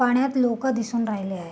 पाण्यात लोक दिसून राहिले आहे.